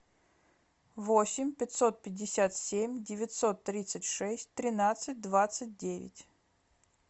восемь пятьсот пятьдесят семь девятьсот тридцать шесть тринадцать двадцать девять